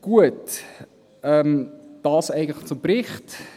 Gut – dies zum Bericht.